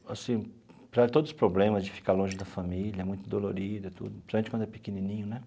Assim para todos os problemas de ficar longe da família, muito dolorido e tudo, principalmente quando é pequenininho, né?